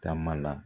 Taama la